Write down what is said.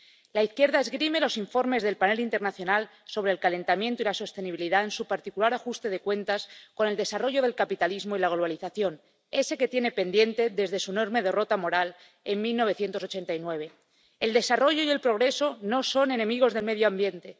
La izquierda esgrime los informes del panel internacional sobre el calentamiento y la sostenibilidad en su particular ajuste de cuentas con el desarrollo del capitalismo y la globalización, ese que tiene pendiente desde su enorme derrota moral en 1989. El desarrollo y el progreso no son enemigos del medio ambiente.